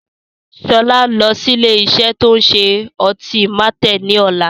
Sọlá ń lọ sí ilé isẹ́ ti o ń ṣe ọtí Martel ni ọ̀la